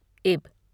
इब